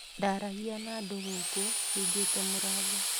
Ndaragia na andũ gũkũ hingĩte mũrango